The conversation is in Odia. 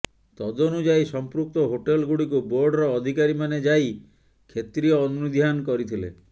ତଦନୁଯାୟୀ ସଂପୃକ୍ତ ହୋଟେଲ୍ଗୁଡ଼ିକୁ ବୋର୍ଡର ଅଧିକାରୀମାନେ ଯାଇ କ୍ଷେତ୍ରୀୟ ଅନୁଧ୍ୟାନ କରିଥିଲେ